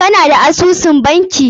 Ka na da asusun banki?